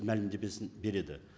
мәлімдемесін береді